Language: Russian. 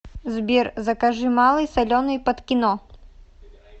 сбер закажи малый соленый под кино